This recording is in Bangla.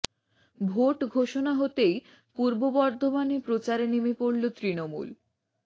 ভোট ঘোষণা হতেই পূর্ব বর্ধমানে প্রচারে নেমে পড়ল তৃণমূল